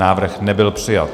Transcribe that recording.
Návrh nebyl přijat.